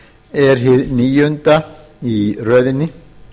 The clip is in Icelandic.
er hið níunda í röðinni